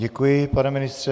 Děkuji, pane ministře.